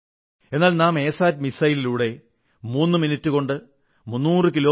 എന്നാൽ നാം എ സാറ്റിലൂടെ മൂന്നു മിനിട്ടുകൊണ്ട് 300 കി